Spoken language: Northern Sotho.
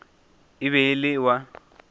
e be e le wa